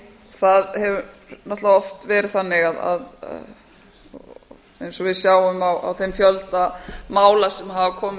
það hefur náttúrlega oft verið þannig að eins og við sjáum á þeim fjölda mála sem hafa komið